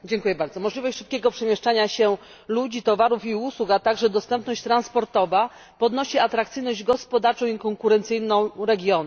Możliwość szybkiego przemieszczania się ludzi, towarów i usług, a także dostępność transportowa podnosi atrakcyjność gospodarczą i konkurencyjną regionów.